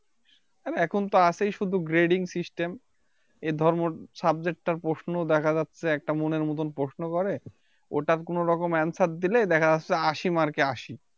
আর এখনতো আছেই শুধু Grading System এর ধর্ম Subject তার প্রশ্ন দেখা যাচ্ছে একটা মনের মতো প্রশ্ন করে ওটা কোনোরকম Answer দিলে দেখা যাচ্ছে আশি Mark এ আশি